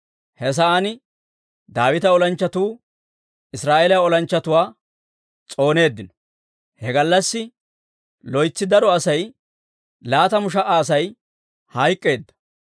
He sa'aan Daawita olanchchatuu Israa'eeliyaa olanchchatuwaa s'ooneeddino; he gallassi loytsi daro asay, laatamu sha"a Asay hayk'k'eedda.